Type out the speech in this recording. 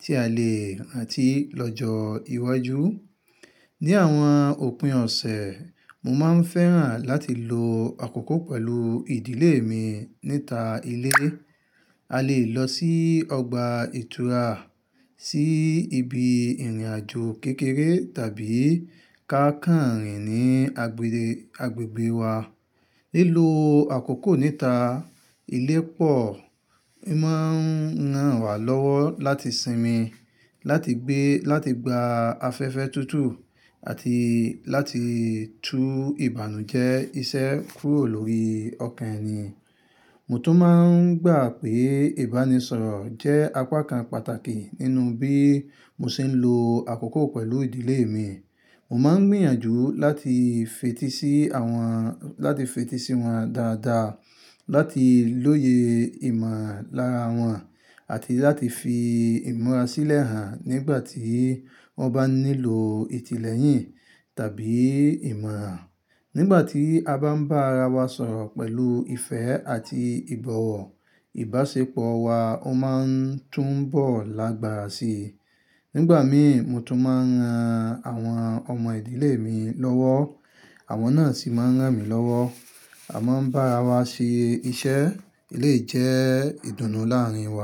tí a lè rántí lọ́jọ́ iwájú. Ni àwọn òpin ọ̀sẹ̀, mo máa ń fẹ́ràn láti lo àkókò pẹ̀lú ìdílé mi níta ilé. A lè lọ sí ọgbà ìtura, sí ibi ìrìnàjò kékeré tàbí ká kànrìn ní agbègbè wa. Lílo àkókò níta ilé pọ̀ n máa ń ran wa lọ́wọ́ láti sinmi, láti gbé, láti gba afẹ́fẹ́ tútù àti láti tú ìbànújẹ́ iṣẹ́ kúrò lórí ọkàn ẹni. Mo tún máa ń gbà pé ìbánisọ̀rọ̀ jẹ́ àpakàn pàtàkì nínú bí mo ṣe ń lo àkókò pẹ̀lú ìdílé mi. Mo máa ń gbìyànjú láti fetí sí àwọn, láti fetí sí wọn dáadáa, láti lóye ìmọ̀ lára wọn àti láti fi ìmọ̀ra sílẹ̀ hàn nígbà tí wọ́n bá nílò ìtìlẹ́yìn tàbí ìmọ̀ràn. Nígbà tí a bá ń bá ara wa sọ̀rọ̀ pẹ̀lú ìfẹ́ àti ìbọ̀wọ̀, ìbáṣepọ̀ wa ó máa ń tún bọ̀ lágbára síi. Nígbà mìí, mo tún máa ń ran àwọn ọmọ ìdílé mi lọ́wọ́, àwọn náà sì máa ń rán mi lọ́wọ́. A máa ń bá ara wa ṣe iṣẹ́ lè jẹ́ ìdùnnú láàárín wa.